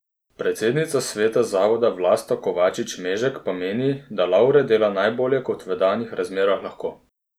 Predsednica sveta zavoda Vlasta Kovačič Mežek pa meni, da Lavre dela najbolje kot v danih razmerah lahko.